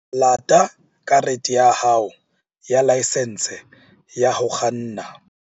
Lata karete ya hao ya laesense ya ho kganna.